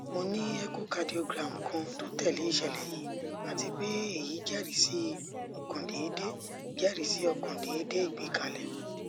mo ni echocardiogram kan to tẹle iṣẹlẹ yii ati pe eyi jẹrisi ọkan deede jẹrisi ọkan deede igbekale